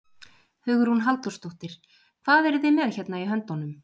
Hugrún Halldórsdóttir: Hvað eruð þið með hérna í höndunum?